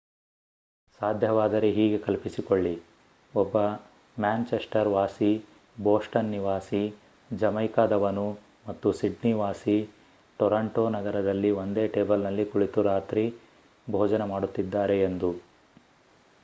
ಸಾಧ್ಯವಾದರೆ ಹೀಗೆ ಕಲ್ಪಿಸಿಕೊಳ್ಳಿ ಒಬ್ಬ ಮ್ಯಾನ್‍‌ಚೆಸ್ಟರ್ ವಾಸಿ ಬೊಸ್ಟನ್ ನಿವಾಸಿ ಜಮೈಕಾದವನು ಮತ್ತು ಸಿಡ್ನಿ ವಾಸಿ ಟೋರಾಂಟೋ ನಗರದಲ್ಲಿ ಒಂದೇ ಟೇಬಲ್‌ನಲ್ಲಿ ಕುಳಿತು ರಾತ್ರಿ ಭೋಜನ ಮಾಡುತ್ತಿದ್ದಾರೆ ಎಂದು